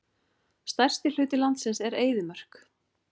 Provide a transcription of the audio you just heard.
Stærsti hluti landsins er eyðimörk.